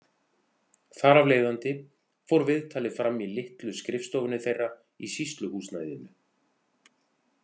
Þar af leiðandi fór viðtalið fram í litlu skrifstofunni þeirra í sýsluhúsnæðinu.